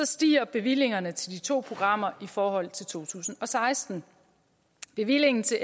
stiger bevillingerne til de to programmer i forhold til to tusind og seksten bevillingen til